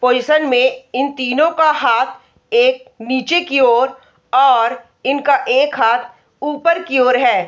Position में इन तीनों का हाथ एक नीचे की ओर और इनका एक हाथ ऊपर की ओर है।